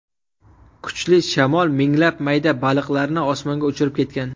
Kuchli shamol minglab mayda baliqlarni osmonga uchirib ketgan.